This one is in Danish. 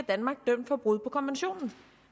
danmark dømt for brud på konventionen